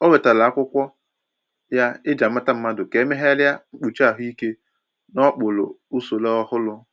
O wetara akwụkwọ ya eji-amata mmadụ ka e meegharia mkpuchi ahụike n’okpuru usoro ọhụrụ.